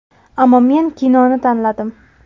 Ammo men kinoni tanladim.